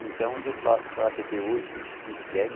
Então, eu faço parte até hoje, me sinto bem.